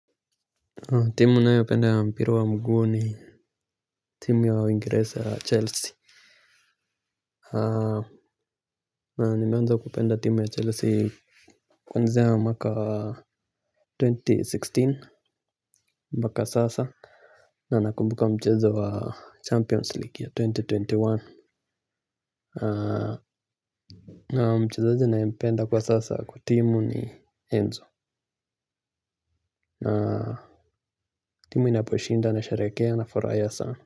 Timu ninayoipenda ya mpira wa mguu ni timu ya waingereza ya Chelsea. Na nimeanza kupenda timu ya Chelsea. Kwanzia mwaka wa elfu mbili na kumi na sita mpaka sasa. Na nakumbuka mchezo wa Champions League ya elfu mbili na ishirini na moja na mchezaji naempenda kwa sasa kwa timu ni Enzo na timu inaposhinda, nasheherekea, na nafurahia sana.